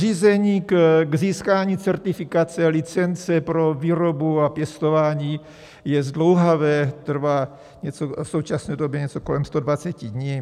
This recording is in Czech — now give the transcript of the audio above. Řízení k získání certifikace, licence pro výrobu a pěstování, je zdlouhavé, trvá v současné době něco kolem 120 dní.